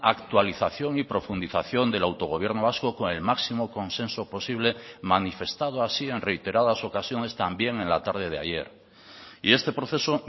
actualización y profundización del autogobierno vasco con el máximo consenso posible manifestado así en reiteradas ocasiones también en la tarde de ayer y este proceso